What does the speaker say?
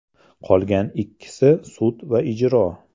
Qolgan ikkisi sud va ijro.